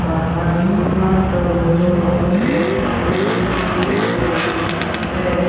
পাহাৰখনৰ তলত বহুতো শিল পৰি আছে।